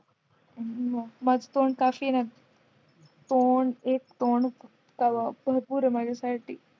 माझं तोंड काफी हेना तोंड तेव्हा एक तोंड भरपूर आहे माझ्यासाठी